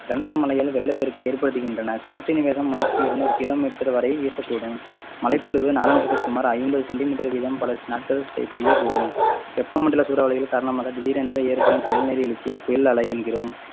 கனத்த மழைகள் வெள்ளப்பெருக்கை ஏற்படுத்துகின்றன காற்றின் வேகம் மணிக்கு இருநூறு kilometer வரை வீசக்கூடும் மழைப்பொழிவு நாளொன்றுக்கு சுமார் ஐம்பது centimeter வீதம் பல நாட்கள் செ~ பெய்யக்கூடும். வெப்ப மண்டல சூறாவளிகள் காரணமாக திடீரென்று ஏற்படும் எழுச்சியை புயல் அலை என்கிறோம்